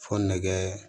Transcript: Fo nɛgɛ